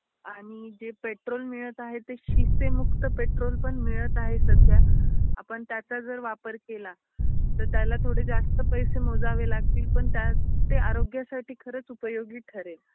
आणि जे पेट्रोल मिळत आहे, ते शिष्तेमुक्त पेट्रोल पण मिळत आहे सध्या आपण त्याचा जर वापर केला त त्याला थोडे जास्त पैसे मोजावे लागतील पण ते आरोग्यसाठी खरच उपयोगी ठरेलं.